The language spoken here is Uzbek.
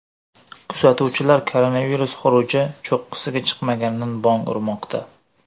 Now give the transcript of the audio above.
Kuzatuvchilar koronavirus xuruji cho‘qqisiga chiqmaganidan bong urmoqda.